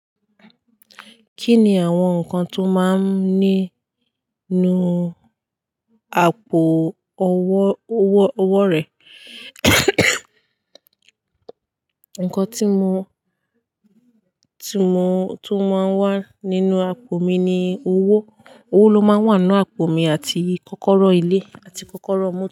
Kí ni àwọn nǹkan tó máa ń ní nínú àpò owó, owó, owó rẹ? Nǹkan tí mo, tí mo, tó máa ń wà nínú àpò mi ni owó. Owó ló máa wà nínú àpò mi àti kọ́kọ́rọ́ ilé àti kọ́kọ́rọ́ ọ mọ.